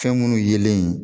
Fɛn minnu yelen